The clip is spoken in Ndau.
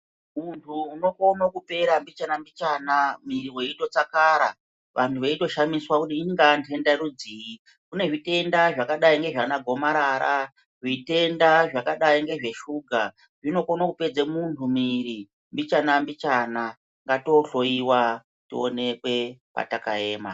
Munhu unokone kupera mbichana mbichana mwiri weito tsakara vanhu veito shamisiswa kuti ingaa ndenda rudzi kune zvitenda zvakadai ndiana gomarara zvitendai zvakadai ngezve shuga zvikone kupedze muntu mwiri mbichana mbichana ngato hloyiwa tionekwe pataka ema.